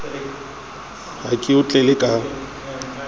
ha ke o tlele ka